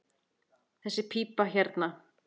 Þessi pípa hérna.